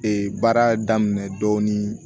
baara daminɛ dɔɔnin